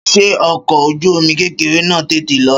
Ṣé ọkọ̀ ojú omi kékeré náà tètè lọ?